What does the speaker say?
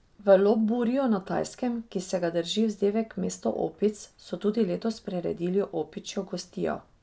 V Lopburiju na Tajskem, ki se ga drži vzdevek mesto opic, so tudi letos priredili opičjo gostijo.